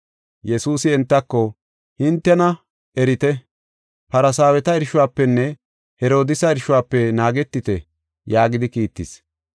Yesuusi entako, “Hintena erite. Farsaaweta irshuwafenne Herodiisa irshuwafe naagetite” yaagidi kiittis.